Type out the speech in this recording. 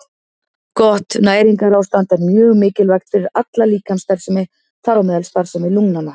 Gott næringarástand er mjög mikilvægt fyrir alla líkamsstarfsemi, þar á meðal starfsemi lungnanna.